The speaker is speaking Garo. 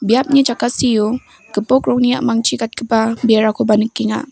biapni jakasio gipok rongni a·mangchi gatgipa berakoba nikenga.